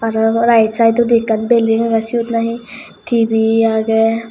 right sidondi ekkan building agey seyot nahi tb agey.